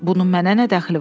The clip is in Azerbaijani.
Bunun mənə nə dəxli var?